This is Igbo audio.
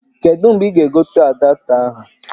Kedu mgbe ị ga-egote adapta ahụ?